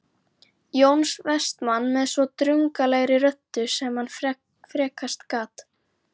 Jóns Vestmanns með svo drungalegri röddu sem hann frekast gat